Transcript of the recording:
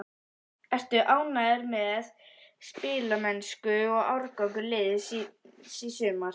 Ertu ánægður með spilamennsku og árangur liðsins í sumar?